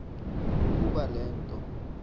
ukoba le nto